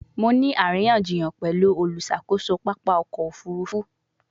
Mo ni ariyanjiyan pẹlu oluṣakoso papa ọkọ ofurufu